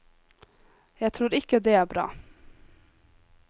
Jeg tror ikke det er bra.